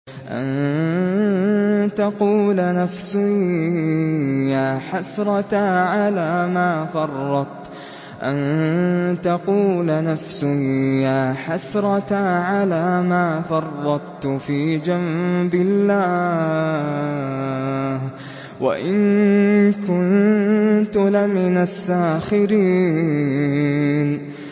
أَن تَقُولَ نَفْسٌ يَا حَسْرَتَا عَلَىٰ مَا فَرَّطتُ فِي جَنبِ اللَّهِ وَإِن كُنتُ لَمِنَ السَّاخِرِينَ